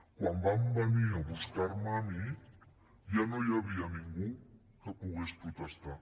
quan van venir a buscar me a mi ja no hi havia ningú que pogués protestar